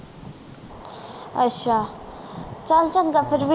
ਅੱਛਾ ਚਲ ਚੰਗਾ ਫੇਰ